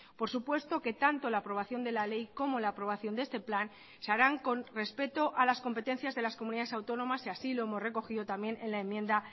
por supuesto que tanto la aprobación de la ley como la aprobación de este plan se harán con respeto a las competencias de las comunidades autónomas y así lo hemos recogido también en la enmienda